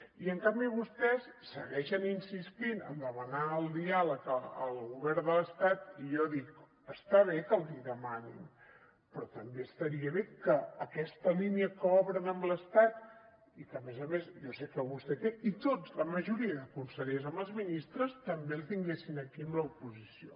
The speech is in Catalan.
i en canvi vostès segueixen insistint a demanar el diàleg al govern de l’estat i jo dic està bé que l’hi demanin però també estaria bé que aquesta línia que obren amb l’estat i que a més a més jo sé que vostè té i tots la majoria de consellers amb els ministres també la tinguessin aquí amb l’oposició